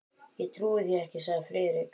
Ég trúi því ekki, sagði Friðrik.